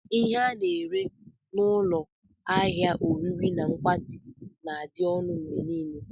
Ihe ndị a na-ere n'ụlọ ahịa ulo oriri na nkwati na-adị ọnụ mgbe niile.